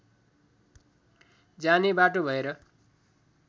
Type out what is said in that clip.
जाने बाटो भएर